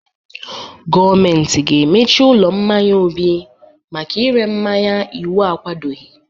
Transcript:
Gọọmenti ga-emechi ụlọ mmanya Obi maka ire mmanya iwu akwadoghi.